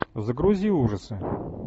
загрузи ужасы